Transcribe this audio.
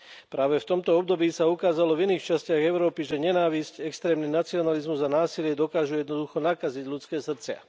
Práve v tomto období sa ukázalo v iných častiach Európy, že nenávisť, extrémny nacionalizmus a násilie dokážu jednoducho nakaziť ľudské srdcia.